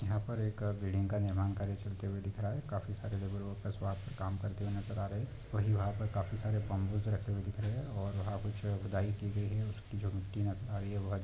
यहां पर एक आ बिल्डिंग का निर्माण कार्य चलते हुए दिख रहा है काफी सारे लेवारो का सो आप काम करते हुये नजर आ रहे वही वहां पर काफी सारे बंबूस रखे हुए दिख रहे हैं और वहां कुछ अ खुदाई की गई है उसकी जो मिट्टी हे भारी है वहत--